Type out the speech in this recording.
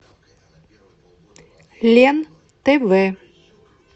лен тв